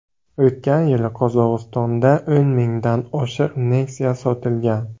O‘tgan yili Qozog‘istonda o‘n mingdan oshiq Nexia sotilgan.